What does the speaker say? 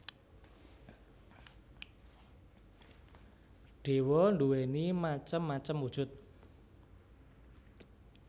Dewa nduwéni macem macem wujud